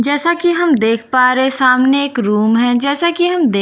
जैसा कि हम देख पा रहे सामने एक रूम है जैसा कि हम दे--